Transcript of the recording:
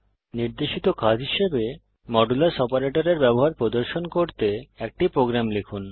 নির্দেশিত কাজ হিসাবে মডুলাস অপারেটরের ব্যবহার প্রদর্শন করতে একটি প্রোগ্রাম লিখুন